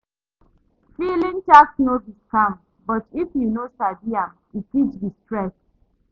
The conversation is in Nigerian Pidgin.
Filing tax no be scam but if you no sabi am, e fit be stress.